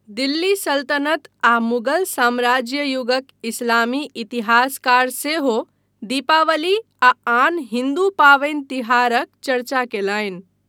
दिल्ली सल्तनत आ मुगल साम्राज्य युगक इस्लामी इतिहासकार सेहो दीपावली आ आन हिन्दू पावनि तिहारक चर्चा कयलनि।